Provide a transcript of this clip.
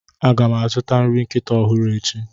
A ga m azụta nri nkịta ọhụrụ echi.